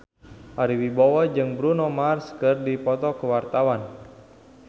Ari Wibowo jeung Bruno Mars keur dipoto ku wartawan